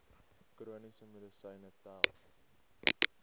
chroniese medisyne tel